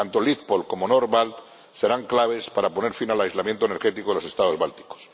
Tanto LitPolLink como NordBalt serán claves para poner fin al aislamiento energético de los Estados bálticos.